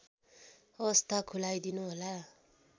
अवस्था खुलाइदिनुहोला